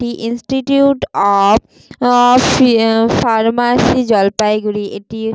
এটি institute of pharmacy Jalpaiguri এটি --